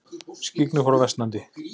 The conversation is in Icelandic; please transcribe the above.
Skyggni fór versnandi.